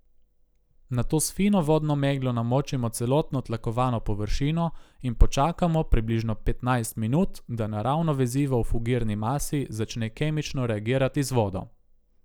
Nato s fino vodno meglo namočimo celotno tlakovano površino in počakamo približno petnajst minut, da naravno vezivo v fugirni masi začne kemično reagirati z vodo.